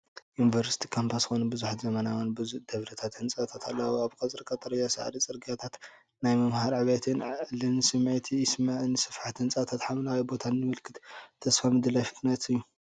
ዩኒቨርሲቲ ካምፓስ ኮይኑ፡ ብዙሓት ዘመናውያን ብዙሕ ደብሪ ህንጻታት ኣለዉዎ። እቲ ቀጽሪ ቀጠልያ ሳዕሪ፡ ጽርግያታት፣ ናይ ምምሃርን ዕብየትን ዕድልን ስምዒት ይስምዓኒ። ስፍሓት ህንጻታትን ሓምላይ ቦታን ምልክት ተስፋን ምድላይ ፍልጠትን እዩ።